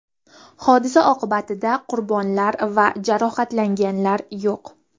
Hodisa oqibatida qurbonlar va jarohatlanganlar yo‘q.